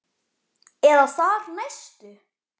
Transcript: Eða þar næstu?